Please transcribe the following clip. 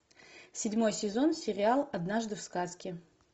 седьмой сезон сериал однажды в сказке